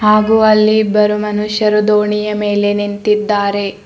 ಹಾಗೂ ಅಲ್ಲಿ ಇಬ್ಬರು ಮನುಷ್ಯರು ದೋಣಿಯ ಮೇಲೆ ನಿಂತಿದ್ದಾರೆ.